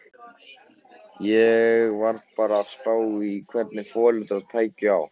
Ég var bara að spá í hvernig foreldrar tækju á.